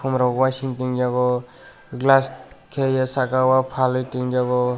omo rok waising ting eiago glass tai saka o falei tin Jago.